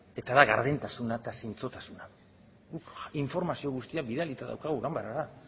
eta da gardentasuna eta zintzotasuna guk informazio guztia bidalita daukagu ganbarara